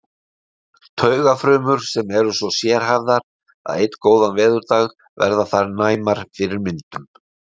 Taugafrumur sem eru svo sérhæfðar að einn góðan veðurdag verða þær næmar fyrir myndum.